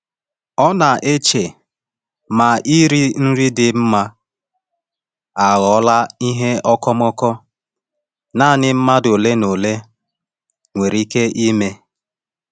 Ọ na-eche ma iri nri dị mma aghọọla ihe okomoko naanị mmadụ ole na ole nwere ike ime.